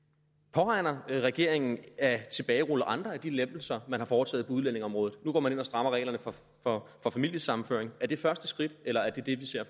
påregner regeringen at tilbagerulle andre af de lempelser man har foretaget på udlændingeområdet nu går man ind og strammer reglerne for familiesammenføring er det første skridt eller er det det vi ser